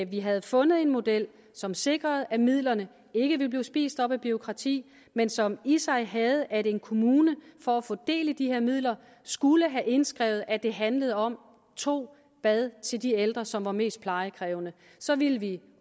vi havde fundet en model som sikrede at midlerne ikke ville blive spist op af bureaukrati men som i sig havde at en kommune for at få del i de her midler skulle have indskrevet at det handlede om to bade til de ældre som var mest plejekrævende så ville vi